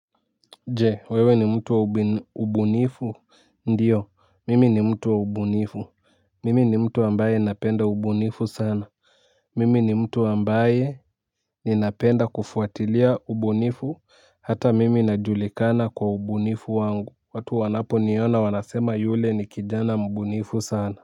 Je wewe ni mtu wa ubunifu ndiyo mimi ni mtu wa ubunifu mimi ni mtu ambaye napenda ubunifu sana mimi ni mtu ambaye ninapenda kufuatilia ubunifu hata mimi najulikana kwa ubunifu wangu watu wanaponiona wanasema yule ni kijana mbunifu sana. Kwa hivyo.